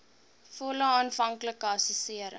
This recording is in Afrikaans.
volle aanvanklike assessering